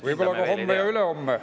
Võib-olla ka homme ja ülehomme.